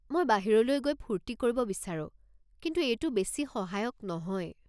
মই বাহিৰলৈ গৈ ফুৰ্তি কৰিব বিচাৰোঁ, কিন্তু এইটো বেছি সহায়ক নহয়।